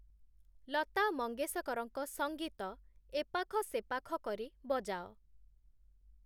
ଲତା ମଙ୍ଗେସକରଙ୍କ ସଙ୍ଗୀତ ଏପାଖ ସେପାଖ କରି ବଜାଅ